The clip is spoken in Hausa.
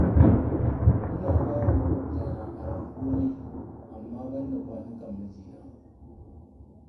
Ina ba wa maƙwabtana aron komai, amma banda kwanukan mijina